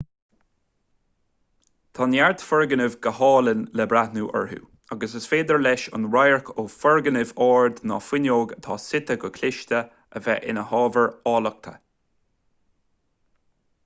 tá neart foirgnimh go hálainn le breathnú orthu agus is féidir leis an radharc ó fhoirgneamh ard nó fuinneog atá suite go cliste a bheith ina hábhar áilleachta